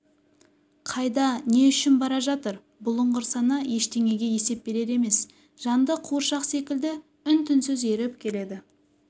қайда не үшін бара жатыр бұлыңғыр сана ештеңеге есеп берер емес жанды қуыршақ секілді үн-түнсіз еріп келеді